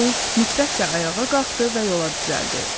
O nifrətlə ayağa qalxdı və yola düzəldi.